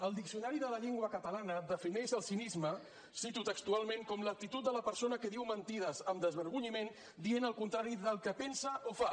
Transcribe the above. el diccionari de la llengua catalana defineix el cinisme cito textualment com l’actitud de la persona que diu mentides amb desvergonyiment dient el contrari del que pensa o fa